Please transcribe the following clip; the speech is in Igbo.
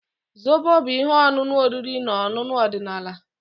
Zobo bụ ihe ọṅụṅụ oriri na ọṅụṅụ ọdịnala.